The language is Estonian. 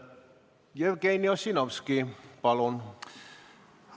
Jevgeni Ossinovski, palun!